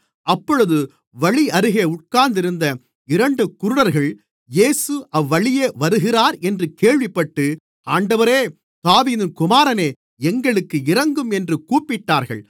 அப்பொழுது வழியருகே உட்கார்ந்திருந்த இரண்டு குருடர்கள் இயேசு அவ்வழியே வருகிறார் என்று கேள்விப்பட்டு ஆண்டவரே தாவீதின் குமாரனே எங்களுக்கு இரங்கும் என்று கூப்பிட்டார்கள்